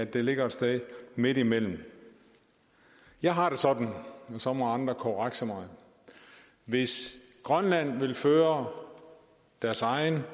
det ligger et sted midtimellem jeg har det sådan og så må andre korrekse mig at hvis grønland vil føre deres egen